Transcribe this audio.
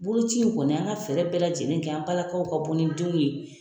Boloci in kɔni an ka fɛɛrɛ bɛɛ lajɛlen kɛ an balakaw ka bɔ ni denw ye.